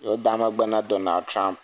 mia da megbe me Donald Trump.